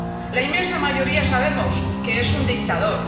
La inmensa mayoría sabemos que es un dictador.